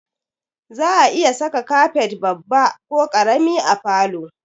Za'a iya sa kafet babba ko ƙarami a falo